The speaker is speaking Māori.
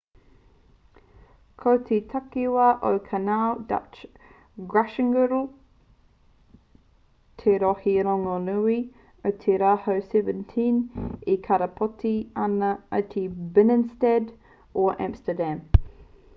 ko te takiwā o canal dutch: gratchtengordel te rohe rongonui o te rautau 17 e karapoti ana i te binnenstad or amsterdam